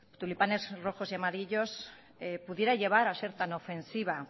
tulipanes rojos y amarillos pudiera llevar a ser tan ofensiva